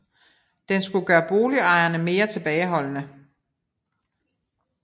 Den skulle gøre boligejerne mere tilbageholdende